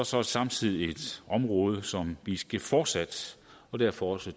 så samtidig et område som vi skal fortsat derfor også